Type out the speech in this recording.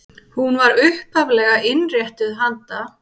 Hún var upphaflega innréttuð handa